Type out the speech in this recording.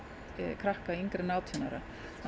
krakka yngri en átján ára